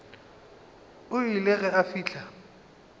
o ile ge a fihla